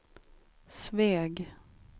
Sveg